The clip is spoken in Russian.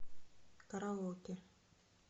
караоке